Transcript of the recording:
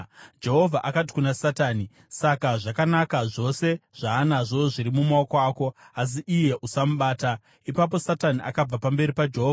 Jehovha akati kuna Satani, “Saka zvakanaka, zvose zvaanazvo zviri mumaoko ako, asi iye usamubata.” Ipapo Satani akabva pamberi paJehovha.